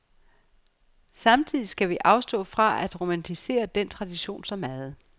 Samtidig skal vi afstå fra at romantisere den tradition så meget.